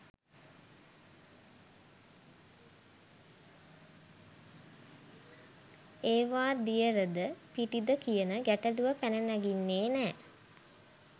එවා දියරද පිටිද කියන ගැටලුව පැන නගින්නේ නෑ.